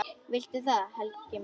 Viltu það, Helgi minn?